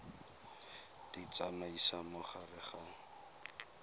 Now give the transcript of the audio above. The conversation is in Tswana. di tsamaisa mo gare ga